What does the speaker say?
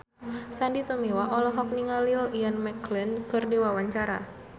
Sandy Tumiwa olohok ningali Ian McKellen keur diwawancara